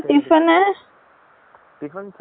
tiffin சாபடல, அவலோ tired to